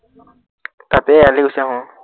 তাতেই এৰালি দিছে আহ ।